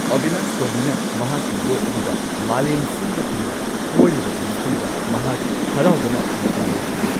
ꯑꯕꯤꯂꯥꯁ ꯇꯣꯃꯤꯅ ꯃꯍꯥꯛꯀꯤ ꯌꯣꯠ ꯑꯗꯨꯗ ꯃꯥꯂꯦꯝ ꯁꯤꯟꯕ ꯊꯨꯡꯅ ꯀꯣꯏꯔꯨꯔꯕ ꯃꯇꯨꯡꯗ ꯃꯍꯥꯛ ꯍꯔꯥꯎꯕꯅ ꯃꯄꯥ ꯂꯩꯈꯤꯗꯦ ꯫